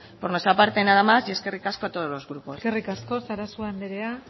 por nuestra parte nada más y eskerrik asko a todos los grupos eskerrik asko sarasua andrea